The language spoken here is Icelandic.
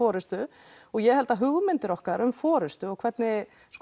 forystu og ég held að hugmyndir okkar um forystu og hvernig